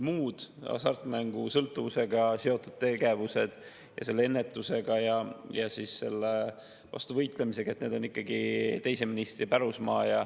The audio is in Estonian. Muud hasartmängusõltuvusega seotud tegevused, selle ennetus ja selle vastu võitlemine on ikkagi teise ministri pärusmaa.